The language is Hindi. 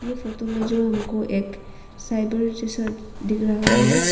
ये फोतो मे जो हमको एक साइबर जैसा दिख रहा है।